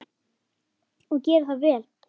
Og gera það vel.